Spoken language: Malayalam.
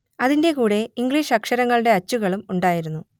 അതിന്റെ കൂടെ ഇംഗ്ലീഷ് അക്ഷരങ്ങളുടെ അച്ചുകളും ഉണ്ടായിരുന്നു